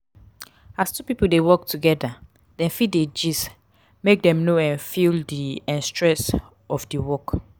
as two pipo de work together dem fit de gist make dem no um feel di um stress of di work